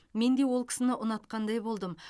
менде ол кісіні ұнатқандай болдым